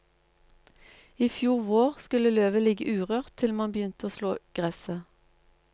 I fjor vår skulle løvet ligge urørt til man begynte å slå gresset.